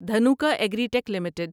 Dhanuka agritech limited